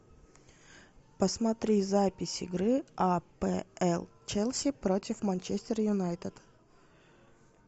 посмотри запись игры апл челси против манчестер юнайтед